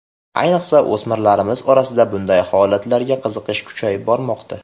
Ayniqsa, o‘smirlarimiz orasida bunday holatlarga qiziqish kuchayib bormoqda.